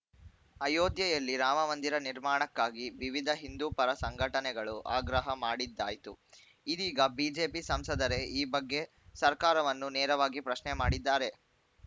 ಅಯೋಧ್ಯೆಯಲ್ಲಿ ರಾಮಮಂದಿರ ನಿರ್ಮಾಣಕ್ಕಾಗಿ ವಿವಿಧ ಹಿಂದೂ ಪರ ಸಂಘಟನೆಗಳು ಆಗ್ರಹ ಮಾಡಿದ್ದಾಯ್ತು ಇದೀಗ ಬಿಜೆಪಿ ಸಂಸದರೇ ಈ ಬಗ್ಗೆ ಸರ್ಕಾರವನ್ನು ನೇರವಾಗಿ ಪ್ರಶ್ನೆ ಮಾಡಿದ್ದಾರೆ